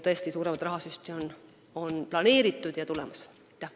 Tõesti, suuremat rahasüsti on planeeritud ja see on tulemas.